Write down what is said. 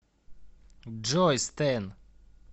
джой стэн